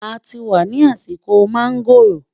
àti wà nì àsìkò mangoọ̀ró